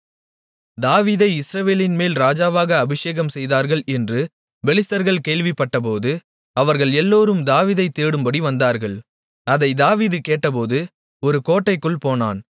தாவீதை இஸ்ரவேலின்மேல் ராஜாவாக அபிஷேகம்செய்தார்கள் என்று பெலிஸ்தர்கள் கேள்விப்பட்டபோது அவர்கள் எல்லோரும் தாவீதைத் தேடும்படி வந்தார்கள் அதைத் தாவீது கேட்டபோது ஒரு கோட்டைக்குள் போனான்